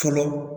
Fɔlɔ